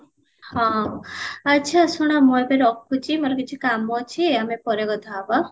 ହଁ ଅଛ ଶୁଣ ମୁଁ ଏବେ ରଖୁଚି ମୋର କିଛି କାମ ଅଛି ଆମେ ପରେ କଥା ହବା